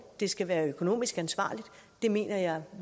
det skal være økonomisk ansvarligt det mener jeg